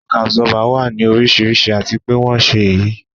Shock Absorber wà ní oríṣiríṣi àti pé wón ṣe é yí